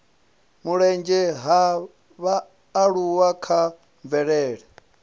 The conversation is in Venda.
mulenzhe ha vhaaluwa kha mvelele